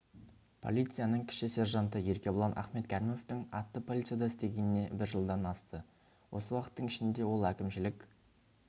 полицияның кіші сержанты еркебұлан ахметкәрімовтің атты полицияда істегеніне бір жылдан асты осы уақыттың ішінде ол әкімшілік